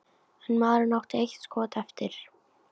En maðurinn átti eitt skot eftir.